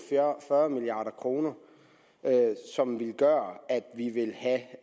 fyrre milliard kr som vil gøre at vi vil have